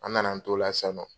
An na na an t'o la sisan nɔ.